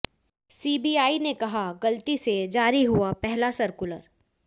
CBI ने कहा गलती से जारी हुआ पहला सर्कुलर